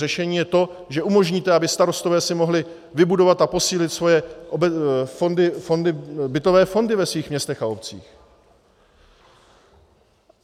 Řešení je to, že umožníte, aby starostové si mohli vybudovat a posílit svoje bytové fondy ve svých městech a obcích.